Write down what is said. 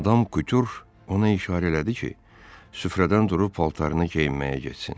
Madam Kutür ona işarə elədi ki, süfrədən durub paltarını geyinməyə getsin.